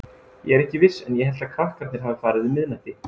Ég er ekki viss en ég held að krakkarnir hafi farið um miðnætti.